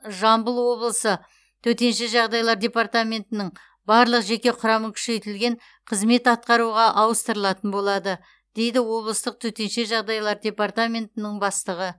жамбыл облысы төтенше жағдайлар департаментінің барлық жеке құрамы күшейтілген қызмет атқаруға ауыстырылатын болады дейді облыстық төтенше жағдайлар департаментінің бастығы